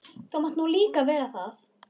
Þú mátt nú líka vera það.